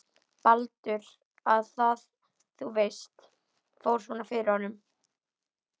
Baldur. að það, þú veist, fór svona fyrir honum.